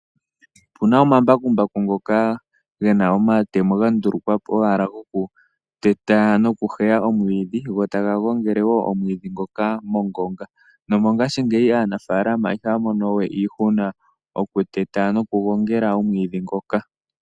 Opuna omambakumbaku ngoka gena omatemo ga ndulukwa po owala goku teta noku heya omwiidhi go taga gangele woo omwiidhi ngoka mongonga . Nomongashiigeyi aanafaalama ihaya mono wee iihuna okuteta noku gongela omwiidhi ngoka .